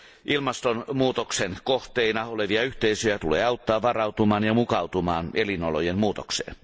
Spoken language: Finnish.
Ilmastonmuutoksen kohteina olevia yhteisöjä tulee auttaa varautumaan ja mukautumaan elinolojen muutokseen.